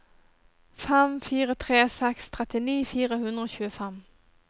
fem fire tre seks trettini fire hundre og tjuefem